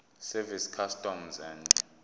service customs and